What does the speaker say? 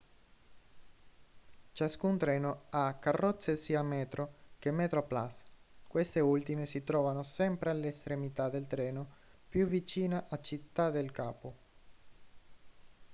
ciascun treno ha carrozze sia metro che metroplus queste ultime si trovano sempre all'estremità del treno più vicina a città del capo